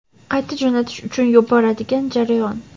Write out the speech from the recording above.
qayta jo‘natish uchun yuboradigan jarayon.